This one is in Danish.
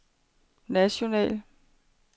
national